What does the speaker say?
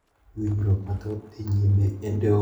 Winjruok mathoth dhi nyime e doho ma Nairobi kod Kisumu.